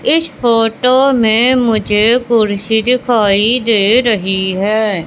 इस फोटो में मुझे कुर्सी दिखाई दे रही है।